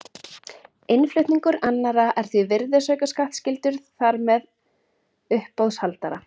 Innflutningur annarra er því virðisaukaskattskyldur þar með uppboðshaldara.